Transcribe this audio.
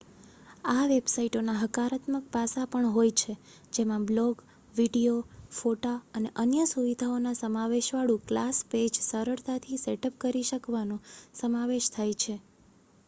આ વેબસાઇટોના હકારાત્મક પાસાં પણ હોય છે જેમાં બ્લૉગ વીડિયો ફોટા અને અન્ય સુવિધાઓના સમાવેશવાળું ક્લાસ પેજ સરળતાથી સેટઅપ કરી શકવાનો સમાવેશ થાય છે